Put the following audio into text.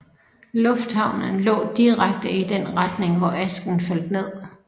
Lufthavnen lå direkte i den retning hvor asken faldt ned